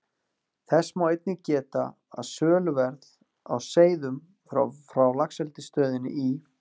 Þess má einnig geta, að söluverð á seiðum frá Laxeldisstöðinni í